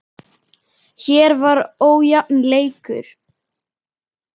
Hér var ójafn leikur.